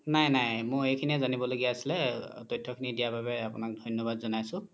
নাই নাই মোৰ এইখিনিয়ে জানিব লগিয়া আছিলে তথ্য খিনি দিয়া বাবে আপোনাক ধন্যবাদ জ্নাইছো